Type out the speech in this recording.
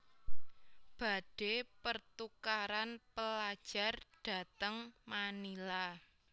Badhe pertukaran pelajar dateng Manila